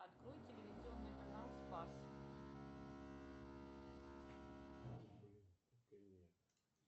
открой телевизионный канал спас